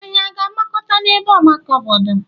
Anyị a na-agbakọ n'ebe ọgbakọ obodo?